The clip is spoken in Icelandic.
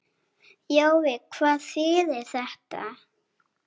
Jói, hvað þýðir þetta?